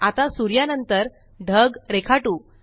आता सूर्या नंतर ढग रेखाटू